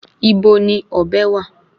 Ibo ni ọ̀bẹ wà?